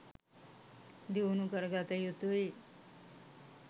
දියුණු කරගත යුතුයි